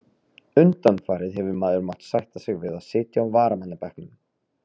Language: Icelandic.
Undanfarið hefur maður mátt sætta sig við að sitja á varamannabekknum.